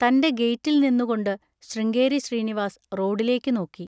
തൻ്റെ ഗെയ്റ്റിൽ നിന്നുകൊണ്ട് ശൃംഗേരി ശ്രീനിവാസ് റോഡിലേക്ക് നോക്കി.